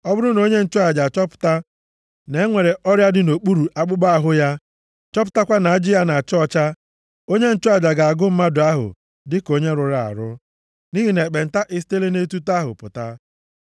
Ọ bụrụ na onye nchụaja achọpụta na e nwere ọrịa dị nʼokpuru akpụkpọ ahụ ya, chọpụtakwa na ajị ya na-acha ọcha, onye nchụaja ga-agụ mmadụ ahụ dịka onye rụrụ arụ, nʼihi na ekpenta esitela nʼetuto ahụ pụta.